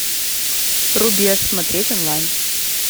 рубеж смотреть онлайн